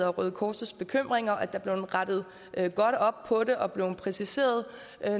og røde kors bekymringer at er blevet rettet godt op på det og blevet præciseret